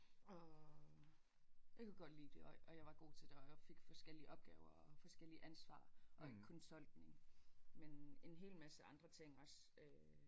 Og jeg kunne godt lide det og og jeg var god til det og fik forskellige opgaver og forskellig ansvar og ikke kun tolkning men en hel masse andre ting også øh